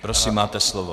Prosím, máte slovo.